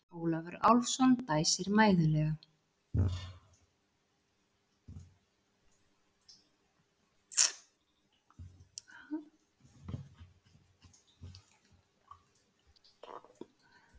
Ólafur Álfsson dæsir mæðulega.